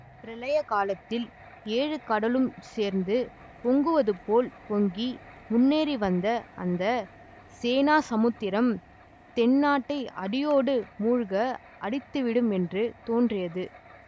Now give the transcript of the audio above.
பிரளய காலத்தில் ஏழு கடலும் சேர்ந்து பொங்குவது போல் பொங்கி முன்னேறி வந்த அந்த சேனா சமுத்திரம் தென்னாட்டை அடியோடு மூழ்க அடித்துவிடும் என்று தோன்றியது